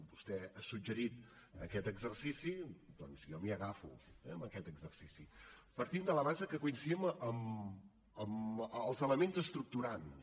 vostè ha suggerit aquest exercici doncs jo m’hi agafo a aquest exercici partint de la base que coincidim en els elements estructurants